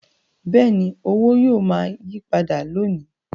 Bẹ́ẹ̀ni, owó yóò máa yípadà lọ ni